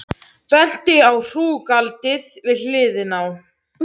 Benti á hrúgaldið við hliðina.